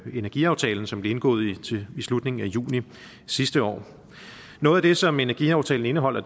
energiaftalen som blev indgået i slutningen af juni sidste år noget af det som energiaftalen indeholder